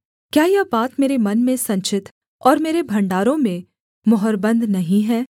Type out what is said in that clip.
क्या यह बात मेरे मन में संचित और मेरे भण्डारों में मुहरबन्द नहीं है